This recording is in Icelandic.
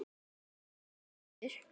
Fuglinn er hvítur.